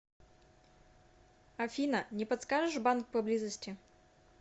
афина не подскажешь банк поблизости